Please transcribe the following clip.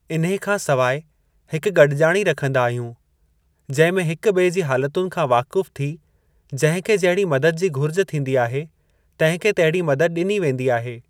इन्हे खां सवाइ हिक गड॒जाणी रखंदा आहियूं जंहिं में हिक बि॒ए जी हालतुनि खां वाकुफ़ थी जंहिं खे जहिड़ी मदद जी घुरिज थींदी आहे, तंहिं खे तहिड़ी मदद ॾिनी वेंदी आहे।